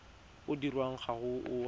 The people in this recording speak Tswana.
o dirwang ga o a